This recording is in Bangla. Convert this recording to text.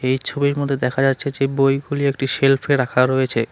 এই ছবির মধ্যে দেখা যাচ্ছে যে বইগুলি একটি সেলফে রাখা রয়েছে।